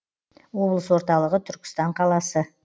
облыс орталығы түркістан қаласы